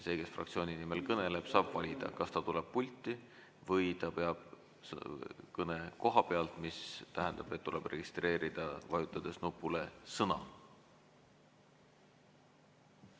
See, kes fraktsiooni nimel kõneleb, saab valida, kas ta tuleb pulti või ta peab kõne koha pealt, mis tähendab, et tuleb registreerida, vajutades nupule "Sõna".